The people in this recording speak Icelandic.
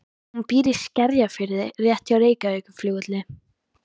Hún býr í Skerjafirði rétt hjá Reykjavíkurflugvelli.